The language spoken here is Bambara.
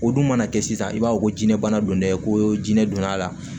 O dun mana kɛ sisan i b'a fɔ ko jinɛ bana don dɛ ko jinɛ donna a la